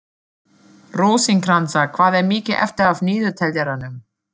Rósinkransa, hvað er mikið eftir af niðurteljaranum?